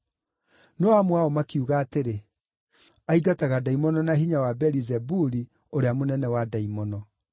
No amwe ao makiuga atĩrĩ, “Aingataga ndaimono na hinya wa Beelizebuli ũrĩa mũnene wa ndaimono.”